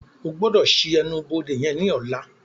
O gbọdọ ṣii ẹnu-bode yen ní ọla!